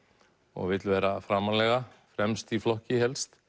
og vill vera framarlega fremst í flokki helst